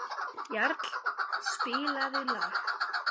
Jarl, spilaðu lag.